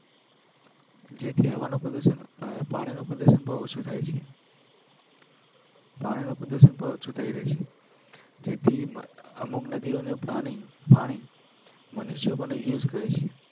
જેથી હવાનું પ્રદુસન પાણીનુ પ્રદુસન બૌ ઓછું થઇ છે પાણી નું પ્રદુસન પણ ઓછું થઇ રહ્યું છે જેથી અમુક નદીઓ નું પાણી મનુષ્યો પણ Use કરે છે